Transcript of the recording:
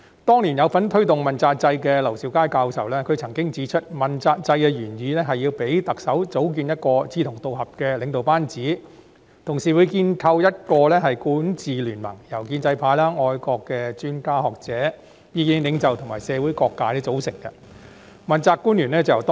當年參與推動問責制的劉兆佳教授曾指出，問責制的原意是要讓特首組建志同道合的領導班子，同時建構一個管治聯盟，由建制派、愛國的專家、學者、意見領袖及社會各界組成，從中挑選問責官員。